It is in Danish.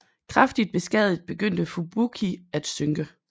Kraftigt beskadiget begyndte Fubuki at synke